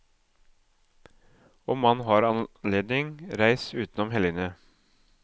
Om man har anledning, reis utenom helgene.